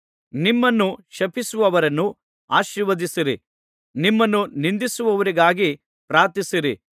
ನಿಮ್ಮನ್ನು ಶಪಿಸುವವರನ್ನು ಆಶೀರ್ವದಿಸಿರಿ ನಿಮ್ಮನ್ನು ನಿಂದಿಸುವವರಿಗಾಗಿ ಪ್ರಾರ್ಥಿಸಿರಿ